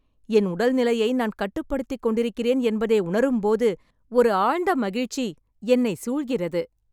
என் உடல்நிலையை நான் கட்டுப்படுத்திக் கொண்டிருக்கிறேன் என்பதை உணரும்போது ஒரு ஆழ்ந்த மகிழ்ச்சி என்னை சூழ்கிறது.